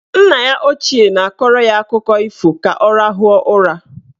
Nna ya ochie na-akọrọ ya akụkọ ifo ka ọ rahụọ ụra.